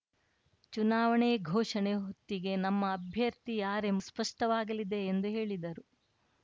ಚುನಾವಣೆ ಘೋಷಣೆ ಹೊತ್ತಿಗೆ ನಮ್ಮ ಅಭ್ಯರ್ಥಿ ಯಾರೆಂಬುದು ಸ್ಪಷ್ಟವಾಗಲಿದೆ ಎಂದು ಹೇಳಿದರು